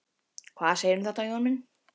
Hvað segirðu um þetta, Jón minn?